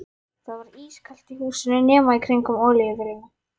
Það var ískalt í húsinu nema í kringum olíuvélina.